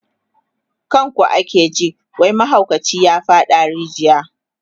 kan ku ake ji wai mahaukaci ya faɗa a rijiya